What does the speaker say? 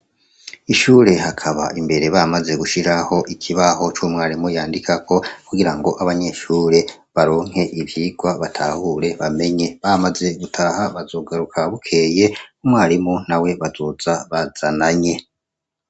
ishure hakaba imbere bamaze gushyiraho ikibaho cy'umwarimu yandikako kugira ngo abanyeshure baronke ivyigwa batahure bamenye, bamaze gutaha bazogaruka bukeye umwarimu nawe bazoza bazananye.